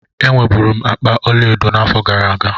Enwe bụrụ m akpa ọlaedo n'afọ gara aga.